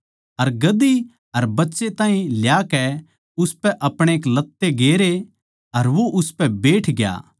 अर गधी अर बच्चे ताहीं ल्याकै उसपै अपणे लत्ते गेरे अर वो उसपै बैठग्या